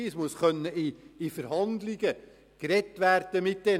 es müssen mit den Fahrenden Verhandlungen geführt werden können.